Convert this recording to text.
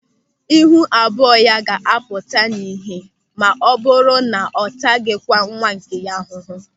Ịhụ abụọ ya ga-apụta ihe maọbụrụ na ọ ataghịkwa nwa nke ya ahụhụ.